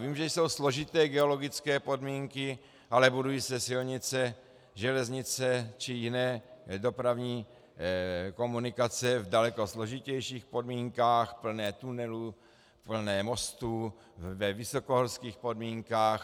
Vím, že jsou složité geologické podmínky, ale budují se silnice, železnice či jiné dopravní komunikace v daleko složitějších podmínkách, plné tunelů, plné mostů, ve vysokohorských podmínkách.